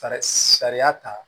Sariya ta